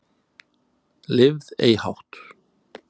Lifð ei hátt